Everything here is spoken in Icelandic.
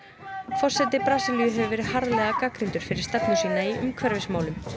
forseti Brasilíu hefur verið harðlega gagnrýndur fyrir stefnu sína í umhverfismálum